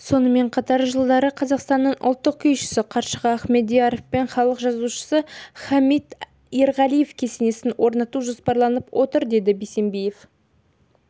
сонымен қатар жылдары қазақтың ұлттық күйшісі қаршыға ахмедьяров пен халық жазушысы хамит ерғалиев кесенесін орнату жоспарланып отыр деді бисембиев